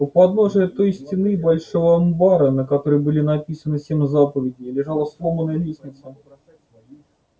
у подножия той стены большого амбара на которой были написаны семь заповедей лежала сломанная лестница